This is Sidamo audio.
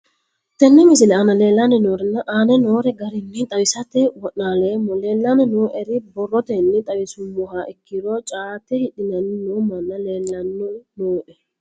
Tene misile aana leelanni nooerre aane noo garinni xawisate wonaaleemmo. Leelanni nooerre borrotenni xawisummoha ikkiro caate hidhanni noo manni leelanni nooe.